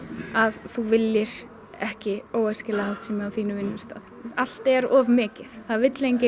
að þú viljir ekki óæskilega háttsemi á þínum vinnustað allt er of mikið það vill enginn